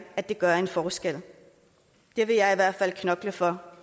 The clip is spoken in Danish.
at det gør en forskel det vil jeg i hvert fald knokle for